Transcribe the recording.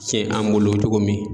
Tiɲɛ an bolo cogo min